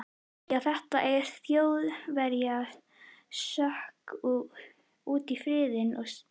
Já, þetta sem Þjóðverjar sökktu úti í firðinum í stríðinu.